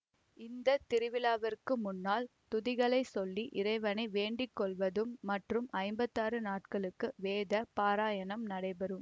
இந்த திருவிழாவிற்கு முன்னால் துதிகளை சொல்லி இறைவனை வேண்டிக்கொள்வது மற்றும் ஐம்பத்தாறு நாட்களுக்கு வேத பாராயணம் நடைபெறும்